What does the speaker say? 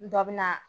Dɔ bɛ na